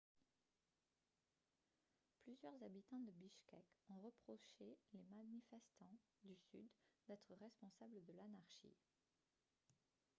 plusieurs habitants de bichkek ont reproché les manifestants du sud d'être responsables de l'anarchie